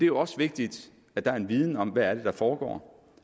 jo også vigtigt at der er en viden om hvad det er der foregår